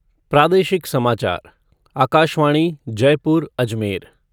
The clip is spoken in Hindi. प्रादेशिक समाचार आकाशवाणी जयपुर अजमेर